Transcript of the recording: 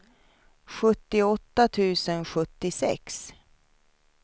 sjuttioåtta tusen sjuttiosex